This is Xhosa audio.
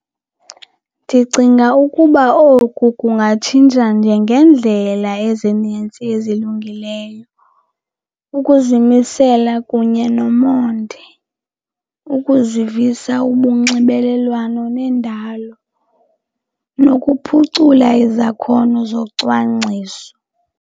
Ndicinga ukuba oku kungatshintsha njengendlela ezinintsi ezilungileyo. Ukuzimisela kunye nomonde, ukuzivisa ubunxibelelwano nendalo nokuphucula izakhono zocwangciso.